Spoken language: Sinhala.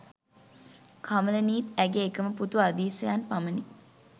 කමලිනීත් ඇගේ එකම පුතු අදීසයන් පමණි.